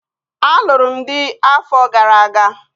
Alụrụ m dị afọ gara aga